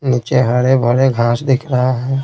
नीचे हरे भरे घास दिख रहा है।